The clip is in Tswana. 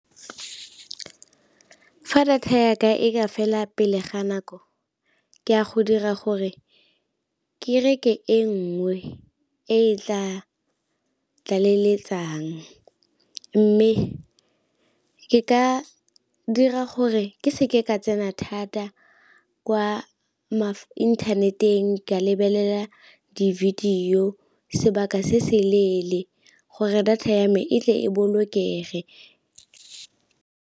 Fa data ya ka e ka fela pele ga nako ke a go dira gore ke reke e nngwe e tla leletsang, mme ke ka dira gore ke seke ka tsena thata kwa inthaneteng ka lebelela di-video sebaka se se leele gore data ya me e tle e bolokege.